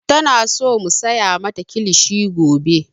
Tana so mu saya mata kilishi gobe.